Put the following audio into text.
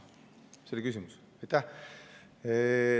See oli küsimus?